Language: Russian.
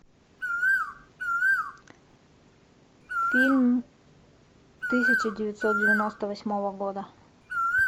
фильм тысяча девятьсот девяносто восьмого года